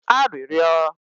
arịrịọ